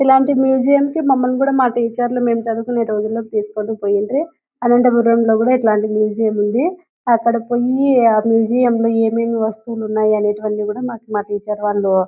ఇలాంటి మ్యూజియం కి మమల్ని కూడా మా టీచర్ లు మెం చదువుకునే రోజుల్లో తీసుకుని పోయిండ్రి అనంతపురం లో కూడా ఇలాంటి మ్యూజియం ఉంది అక్కడ కొన్ని మ్యూజియం లో ఏమేమి వస్తువులు ఉన్నాయో అనేటివి అన్నీ కూడా మాకు మా టీచర్ వాళ్ళు --